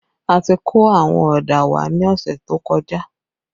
A ti kó àwọn ọ̀dà wá ní ọ̀sẹ̀ tó kọjá